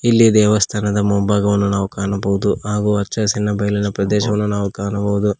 ಇಲ್ಲಿ ದೇವಸ್ಥಾನದ ಮುಂಭಾಗವನ್ನು ನಾವು ಕಾಣಬಹುದು ಹಾಗು ಹಚ್ಚ ಹಸಿರಿನ ಬಯಲಿನ ಪ್ರದೇಶವನ್ನು ನಾವು ಕಾಣಬಹುದು.